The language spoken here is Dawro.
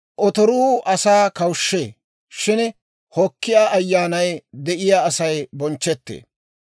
Otoruu asaa kawushshee; shin hokkiyaa ayyaanay de'iyaa Asay bonchchetee.